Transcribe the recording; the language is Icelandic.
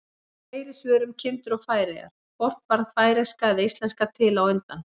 Fleiri svör um kindur og Færeyjar: Hvort varð færeyska eða íslenska til á undan?